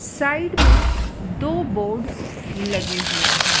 Side में दो boards लगे हुए हैं।